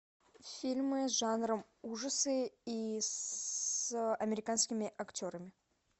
фильмы с жанром ужасы и с американскими актерами